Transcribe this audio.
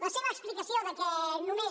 la seva explicació que només